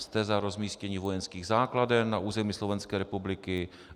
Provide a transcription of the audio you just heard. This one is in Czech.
Jste za rozmístění vojenských základen na území Slovenské republiky?